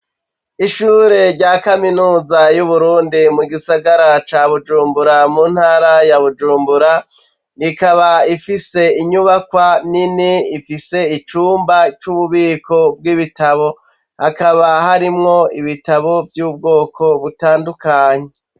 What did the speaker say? Ishure rya kaminuza y'Uburundi, mu gisagara ca Bujumbura, mu ntara ya Bujumbura, rikaba ifise inyubakwa nini ifise icumba c'ububiko bw'ibitabo. Hakaba harimwo ibitabo vy'ubwoko butandukanye.